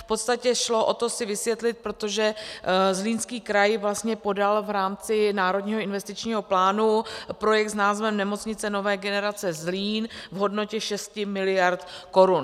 V podstatě šlo o to si vysvětlit, protože Zlínský kraj vlastně podal v rámci Národního investičního plánu projekt s názvem Nemocnice nové generace Zlín v hodnotě 6 miliard korun.